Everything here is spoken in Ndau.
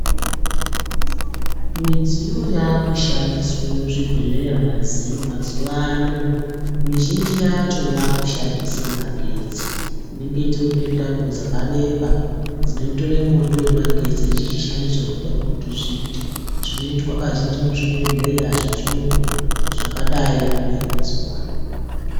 Midziyo yakushandiswa muzvibhedhlera mazuva ano mizhinji yacho yakushandisa magetsi inenge itorine tambo dzakareba dzinotore mwoto wemagetsi dzichichite zvawanoda kuti zviite zvinoitwa kazhinji muchibhedhlera zvechiyunga zvakadai kuuya mazuvanaya.